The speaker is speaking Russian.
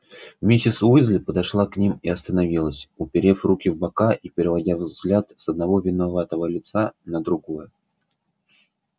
миссис уизли подошла к ним и остановилась уперев руки в бока и переводя взгляд с одного виноватого лица на другое